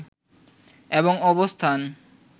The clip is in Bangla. এবং অবস্থান